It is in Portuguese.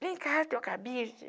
Vem cá, teu cabide.